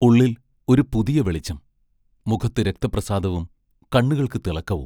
ഉള്ളിൽ ഒരു പുതിയ വെളിച്ചം; മുഖത്തു രക്തപ്രസാദവും കണ്ണുകൾക്കു തിളക്കവും.